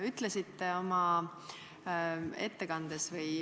Aitäh!